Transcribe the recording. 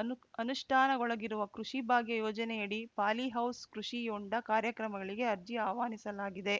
ಅನು ಅನುಷ್ಠಾನಗೊಳಗಿರುವ ಕೃಷಿ ಭಾಗ್ಯ ಯೋಜನೆಯಡಿ polyhouse ಕೃಷಿ ಹೊಂಡ ಕಾರ್ಯಕ್ರಮಗಳಿಗೆ ಅರ್ಜಿ ಆಹ್ವಾನಿಸಲಾಗಿದೆ